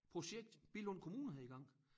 Projekt Billund Kommune havde i gang